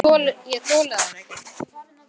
Ég þoli þær ekki.